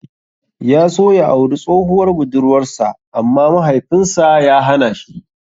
Ya so ya auri tsohuwar budurwar sa amma Mahaifin sa ya hana shi.